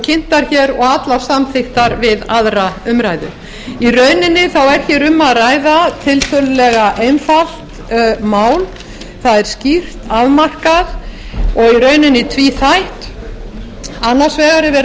kynntar og allar samþykktar við aðra umræðu í rauninni er um að ræða tiltölulega einfalt mál það er skýrt afmarkað og í rauninni tvíþætt annars vegar